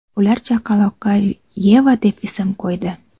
Ular chaqaloqqa Yeva deb ism qo‘ydi.